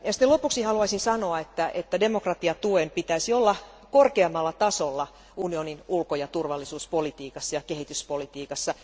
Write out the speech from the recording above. Lopuksi haluaisin sanoa, että demokratiatuen pitäisi olla korkeammalla tasolla unionin ulko ja turvallisuuspolitiikassa ja kehityspolitiikassa.